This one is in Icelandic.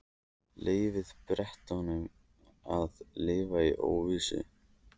Leyfum Bretunum að lifa í óvissu.